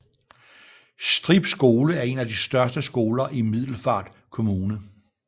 Strib Skole er en af de største skoler i Middelfart Kommune